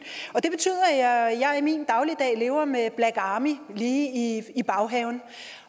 det betyder at at jeg i min dagligdag lever med black army lige i baghaven